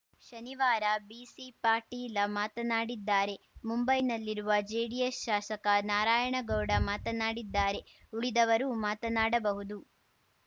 ಶನಿವಾರ ಬಿಸಿಪಾಟೀಲ ಮಾತನಾಡಿದ್ದಾರೆ ಮುಂಬೈನಲ್ಲಿರುವ ಜೆಡಿಎಸ್‌ ಶಾಸಕ ನಾರಾಯಣಗೌಡ ಮಾತನಾಡಿದ್ದಾರೆ ಉಳಿದವರೂ ಮಾತನಾಡಬಹುದು